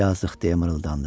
Yazıq, – deyə mırıldandı.